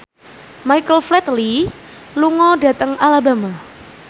Michael Flatley lunga dhateng Alabama